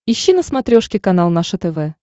ищи на смотрешке канал наше тв